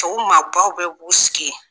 Tɔw maabaw bɛɛ b'u sigi yen